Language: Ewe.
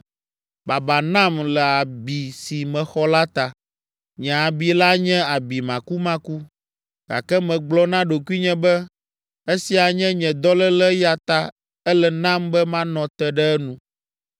Baba nam le abi si mexɔ la ta. Nye abi la nye abi makumaku! Gake megblɔ na ɖokuinye be, “Esia nye nye dɔléle eya ta ele nam be manɔ te ɖe enu.”